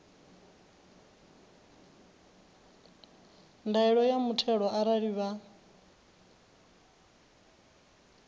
ndaela ya muthelo arali vha